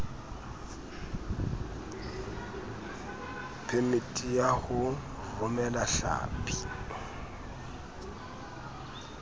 phemiti ya ho romela hlapi